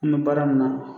An bɛ baara min na